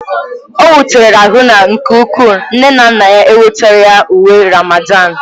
O wutere Haruna nke ukwuu nne na nna ya enwetaghị ya uwe Ramadan.